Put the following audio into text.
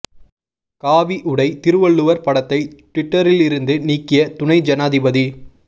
காவி உடை திருவள்ளுவர் படத்தை ட்விட்டரில் இருந்து நீக்கிய துணை ஜனாதிபதி